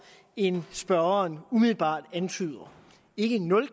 end spørgeren umiddelbart antyder ikke nul